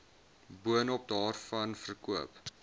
boonop daarvan verkoop